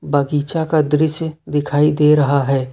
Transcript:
बगीचा का दृश्य दिखाई दे रहा है।